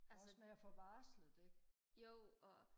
altså jo og